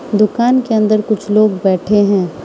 दुकान के अंदर कुछ लोग बैठे हैं।